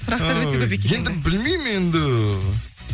сұрақтар өте көп екен енді білмеймін енді